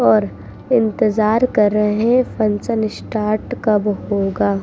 ओर इंतेजार कर रह हैं फंगक्शन स्टार्ट कब होगा।